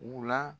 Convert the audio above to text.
U la